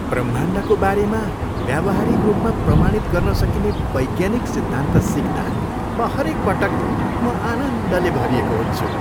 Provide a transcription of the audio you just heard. ब्रह्माण्डको बारेमा व्यावहारिक रूपमा प्रमाणित गर्न सकिने वैज्ञानिक सिद्धान्त सिक्दा म हरेकपटक म आनन्दले भरिएको हुन्छु।